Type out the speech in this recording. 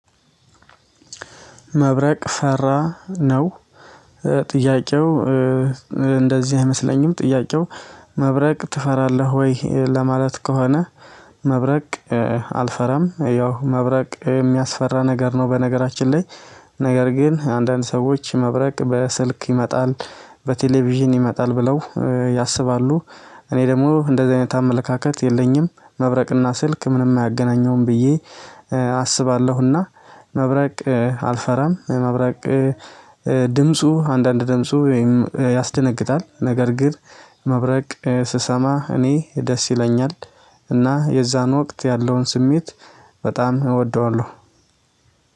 መብረቅ ፈራ ነው። ጥያቄው እንደዚህ አይመስለኝም ጥያቄው መብረቅ ትፈራለህ ወይ ለማለት ከሆነ? መብረቅ አልፈራም ያው መብረቅ የሚያስፈራ ነገር ነው በነገራችን ላይ። ነገር ግን አንዳንድ ሰዎች መብረቅ በስልክ ይመጣል በቴሌቪዥን ይመጣል ብለው ያስባሉ። እኔ ደግሞ እንደዚህ አይነት አመለካከት የለኝም መብረቅና ስልክ ምንም አያገናኘውም ብዬ አስባለሁና። መብረቅ አልፈራም። መብረቅ ድምፁ አንዳንድ ድምፁ ወይም ያስደነግጣል ነገር ግን መብረቅ ስሰማ እኔ ደስ ይለኛል። እና የዛን ወቅት ያለውን ስሜት በጣም እወደዋለሁ